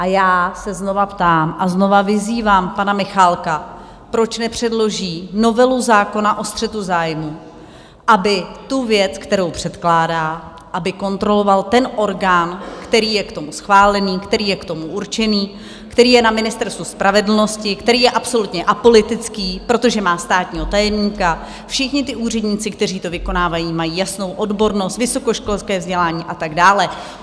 A já se znovu ptám a znovu vyzývám pana Michálka, proč nepředloží novelu zákona o střetu zájmů, aby tu věc, kterou předkládá, aby kontroloval ten orgán, který je k tomu schválený, který je k tomu určený, který je na Ministerstvu spravedlnosti, který je absolutně apolitický, protože má státního tajemníka, všichni ti úředníci, kteří to vykonávají, mají jasnou odbornost, vysokoškolské vzdělání a tak dále.